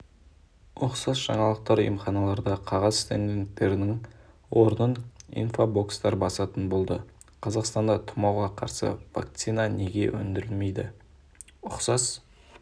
ұқсас жаңалықтар емханаларда қағаз стендтердің орнын инфобокстар басатын болды қазақстанда тұмауға қарсы вакцина неге өндірілмейді ұқсас